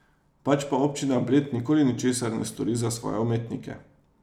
Pač pa občina Bled nikoli ničesar ne stori za svoje umetnike.